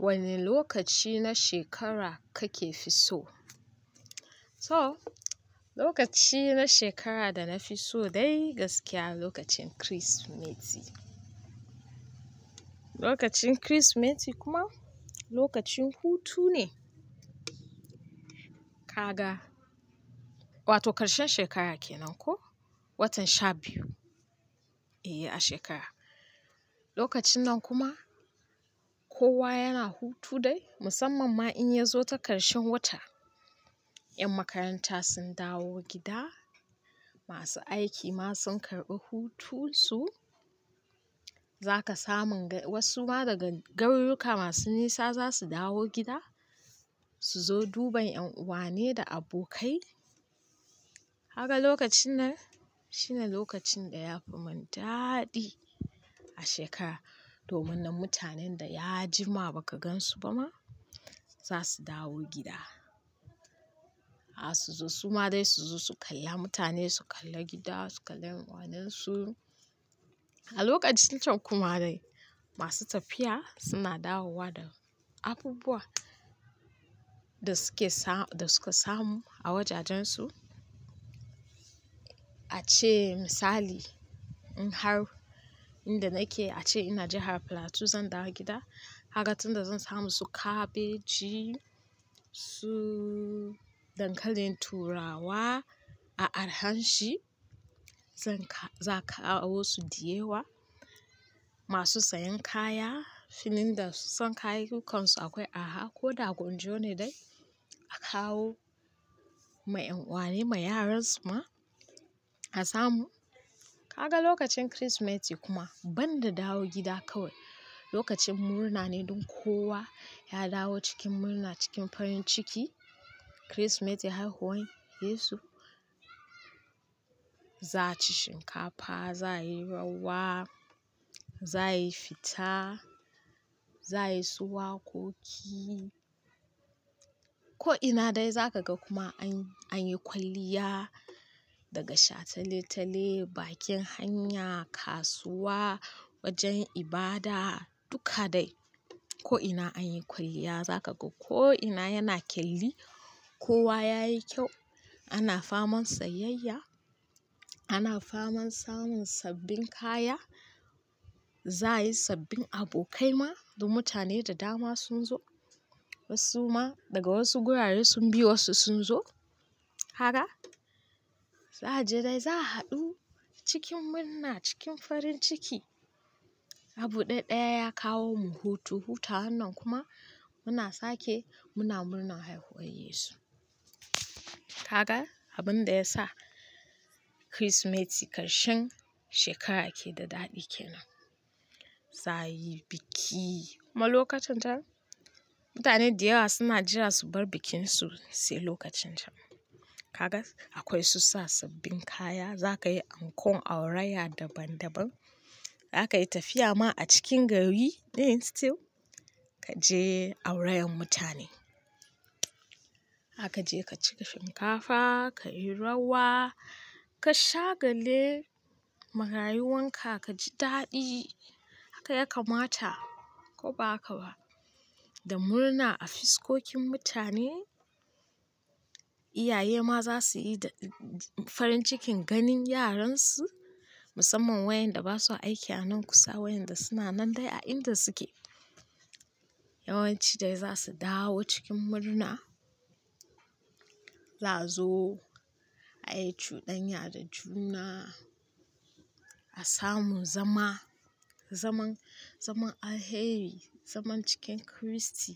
Wane lokaci na shekara kakefi so? To lokaci na shekara da na fi so dai gaskiya lokacin Kirsimeti. Lokacin Kirsimeti kuma lokacin hutu ne. Kaga, wato ƙarshen shekara kenan ko, watan sha biyu, eh a shekara. Lokacin nan kuma kowa yana hutu dai musamman ma in ya zo ta ƙarshen wata. 'Yan makaranta sun dawo gida, masu aiki ma sun karɓi hutunsu. Za ka samu wasu ma daga garuruka masu nisa za su dawo gida su zo duban yan uwa ne da abokai. Haka lokacin nan shine lokacin da ya fi mun daɗi a shekara. Domin nan mutanen da ya jima ba ka gansu ba ma za su dawo gida. A su zo su ma dai su zo su kalla mutane, su kalla gida, su kalla yan uwansu. A lokacin can kuma dai masu tafiya suna dawowa da abubuwa da suke sa-- da suka samu a wajajensu. A ce misali in har inda nake a ce ina jihar Plateau zan dawo gida, haka tunda zan samu su cabbage su dankalin turawa a Arhan shi zan ka-- za a kawo su diyewa. Masu sayan kaya, filin da sukan kayi kukan su akwai aha ko dagon jone dai a kawo ma yan uwa ne ma yaran su ma a samu. Kaga lokacin Kirsimeti kuma ban da dawo gida kawai lokacin murna ne duk kowa ya dawo cikin murna cikin farin ciki. Kirsimeti haihuwan Yesu za a ci shinkafa, za a yi rawa, za a yi fita, za a yi su wakoki. Ko'ina dai za ka ga kuma an, an yi kwalliya daga shataletale, bakin hanya, kasuwa, wajen ibada duka dai ko'ina an yi kwalliya za ka ga ko'ina yana kyalli. Kowa ya yi kyau. Ana fa man sayayya, ana fa man samun sabbin kaya. Za a yi sabbin abokai ma duk mutane da dama sun zo. Wasu ma daga wasu gurare sun bi wasu sun zo. Kaga, za a je dai za a haɗu cikin murna cikin farin ciki. Abu ɗaya ya kawo mu hutu, huta wannan kuma muna sake muna murna haihuwar Yesu. Haka abin da ya sa Kirsimeti ƙarshen shekara ke da daɗi kenan. Za a yi biki kuma lokacin can mutane diyawa suna jira su bar bikinsu sai lokacin can. Haka akwai su sa sabbin kaya. Za ka yi anko a wurare daban daban. Za ka yi tafiya ma a cikin gari ɗin still ka je a wurin mutane. Haka je ka cika shinkafa, ka yi rawa, ka sha gale, marayu wanka, ka ji daɗi. Haka ya kamata ko ba haka ba. Da murna a fiskokin mutane, iyaye ma za su yi farin cikin ganin yaran su musamman wayanda ba su aiki a nan kusa wayanda suna nan dai a inda suke. Yawanci dai za su dawo cikin murna. Za a zo, a yi cuɗanya da juna, a samu zama, zaman, zaman alheri, zaman cikin Kiristi,